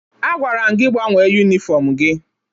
Agwara m gị gbanwee yunifọmụ gị!